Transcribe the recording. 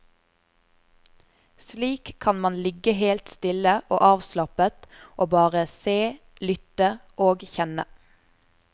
Slik kan man ligge helt stille og avslappet og bare se, lytte og kjenne.